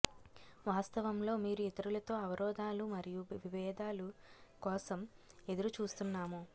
వాస్తవంలో మీరు ఇతరులతో అవరోధాలు మరియు విబేధాలు కోసం ఎదురు చూస్తున్నాము